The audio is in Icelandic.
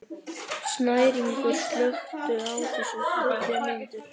Snæringur, slökktu á þessu eftir tuttugu mínútur.